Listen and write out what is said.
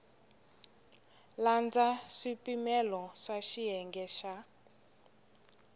landza swipimelo swa xiyenge xa